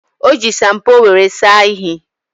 O ji shampoo were saa ishi.